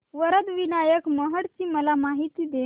वरद विनायक महड ची मला माहिती दे